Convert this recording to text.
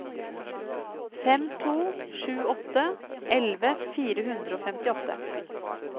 fem to sju åtte elleve fire hundre og femtiåtte